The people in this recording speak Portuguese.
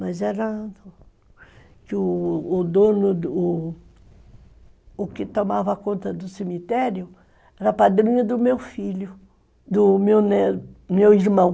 Mas era... O dono, o o que tomava conta do cemitério, era padrinho do meu filho, do meu irmão.